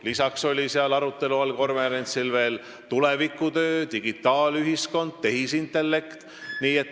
Lisaks olid sellel konverentsil arutelu all veel tulevikutöö, digitaalühiskond ja tehisintellekt.